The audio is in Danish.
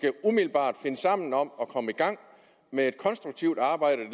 umiddelbart finde sammen om at komme i gang med et konstruktivt arbejde